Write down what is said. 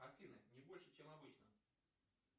афина не больше чем обычно